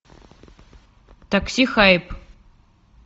такси хайп